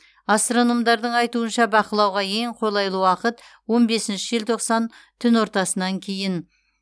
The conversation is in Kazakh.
астрономдардың айтуынша бақылауға ең қолайлы уақыт он бесінші желтоқсан түн ортасынан кейін